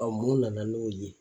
Ɔn mun nana n'o ye?